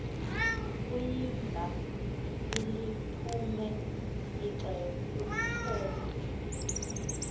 kuyimba iliphume ixele